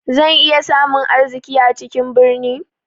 Zan iya samun arziki a cikin birni?